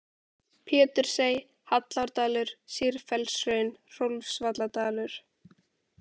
Pétursey, Hallárdalur, Sýrfellshraun, Hrólfsvalladalur